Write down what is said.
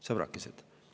" Sõbrakesed!